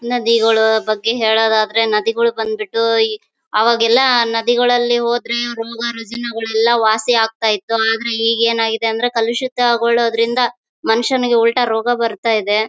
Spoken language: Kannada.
ನದಿಗಳು ಬಗ್ಗೆ ಹೇಳೋದಾದರೆ ನದಿಗಳು ಬಂದ್ಬಿಟ್ಟು ಈಗ್ ಅವಾಗೆಲ್ಲ ನದಿಗಳಲ್ಲಿ ಹೋದ್ರೆ ರೋಗ ರಾಜಿನಗಳೆಲ್ಲ ವಾಸಿ ಆಗ್ತಾಯಿತ್ತು ಆದ್ರೆ ಈಗ್ ಏನ್ ಆಗಿದೆ ಅಂದ್ರೆ ಕಲುಷಿತ ಗೊಳ್ಳೋದರಿಂದ ಮನುಷ್ಯನಿಗೆ ಉಲ್ಟಾ ರೋಗ ಬಾರ್ತಾಇದೆ.